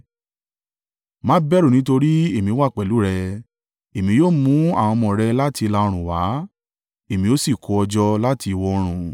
Má bẹ̀rù nítorí èmi wà pẹ̀lú rẹ; Èmi yóò mú àwọn ọmọ rẹ láti ìlà-oòrùn wá èmi ó sì kó ọ jọ láti ìwọ̀-oòrùn.